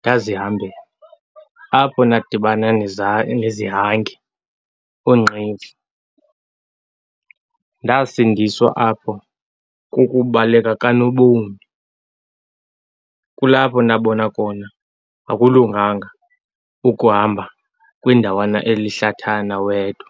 ndazihambela. Apho ndadibana nezihange, oonqevu. Ndasindiswa apho kukubaleka kanobomi. Kulapho ndabona khona akulunganga ukuhamba kwindawana elihlathana wedwa.